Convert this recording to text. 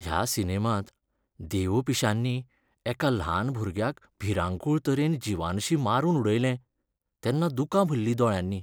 ह्या सिनेमांत देवपिश्यांनी एका ल्हान भुरग्याक भिरांकूळ तरेन जिवानशीं मारून उडयलें तेन्ना दुकां भरलीं दोळ्यांनी.